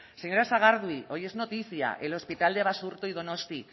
señora sagardui hoy es noticia el hospital de basurto y donosti